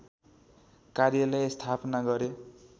कार्यालय स्थापना गरे